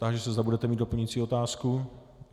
Táži se, zda budete mít doplňující otázku.